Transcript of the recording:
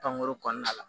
Pankurun kɔnɔna la